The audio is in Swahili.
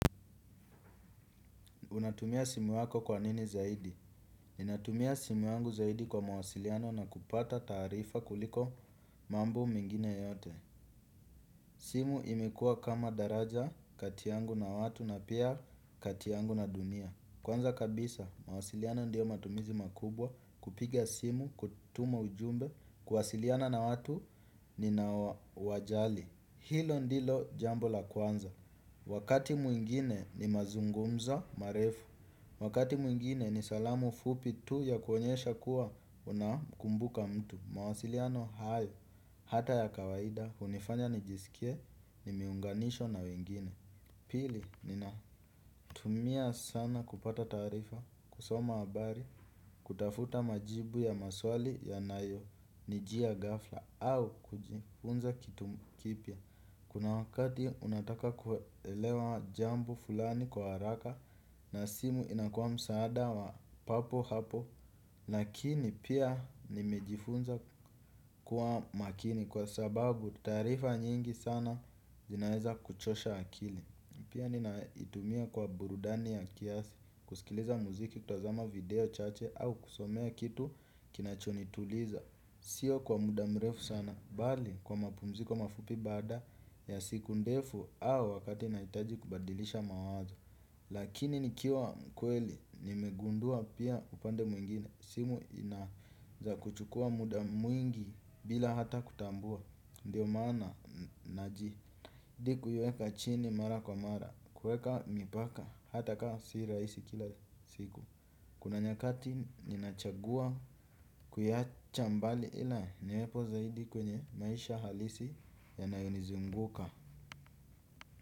Unatumia simu yako kwa nini zaidi? Ninatumia simu yangu zaidi kwa mawasiliano na kupata tarifa kuliko mambo mingine yote. Simu imekuwa kama daraja kati yangu na watu na pia kati yangu na dunia. Kwanza kabisa, mawasiliano ndiyo matumizi makubwa kupiga simu, kutuma ujumbe, kuwasiliana na watu ninaowajali. Hilo ndilo jambo la kwanza. Wakati mwingine ni mazungumzo, marefu. Wakati mwingine ni salamu fupi tu ya kuonyesha kuwa unamkumbuka mtu. Mawasiliano hayo hata ya kawaida hunifanya nijisikie nime unganishwa na wengine. Pili ninatumia sana kupata taarifa kusoma habari kutafuta majibu ya maswali yanayo nijia ghafla au kujifunza kitu kipya. Kuna wakati unataka kuelewa jambo fulani kwa haraka na simu inakua msaada wa papo hapo. Lakini pia nimejifunza kuwa makini kwa sababu taarifa nyingi sana zinaeza kuchosha akili. Pia ninaitumia kwa burudani ya kiasi, kusikiliza muziki, kutazama video, chache au kusomea kitu kinachonituliza. Sio kwa muda mrefu sana bali kwa mapumziko mafupi baada ya siku ndefu au wakati nahitaji kubadilisha mawazo. Lakini nikiwa mkweli nimegundua pia upande mwingine simu inaweza kuchukua muda mwingi bila hata kutambua ndiyo maana najitahidi kuiweka chini mara kwa mara kuweka mipaka hataka si rahisi kila siku. Kuna nyakati nina chagua kuiwacha mbali ila ni uwepo zaidi kwenye maisha halisi yanayonizunguka.